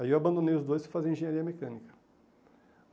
Aí eu abandonei os dois e fui fazer engenharia mecânica.